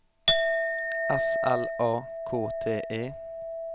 S L A K T E